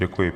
Děkuji.